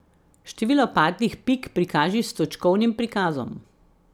Število padlih pik prikaži s točkovnim prikazom.